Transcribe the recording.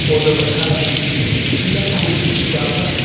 पौधों पर हरा पीला फूल भी उगा हुआ है।